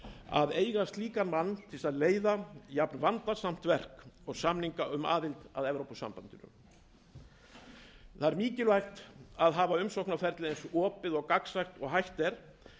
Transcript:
að eiga slíkan mann til að leiða jafnvandasamt verk og samninga um aðild að evrópusambandinu það er mikilvægt að hafa umsóknarferlið eins opið og gagnsætt og hægt er